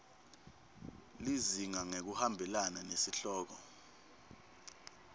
lizinga ngekuhambelana nesihloko